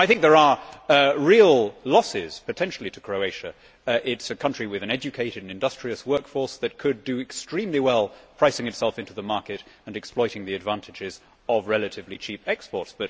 I think there are real losses potentially to Croatia. It is a country with an educated and industrious workforce that could do extremely well pricing itself into the market and exploiting the advantages of relatively cheap exports